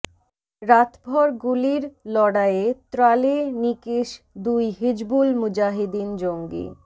রাতভর গুলির লড়াইয়ে ত্রালে নিকেশ দুই হিজবুল মুজাহিদিন জঙ্গি